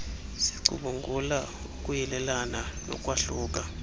sicubungula ukuyelelana nokwahluka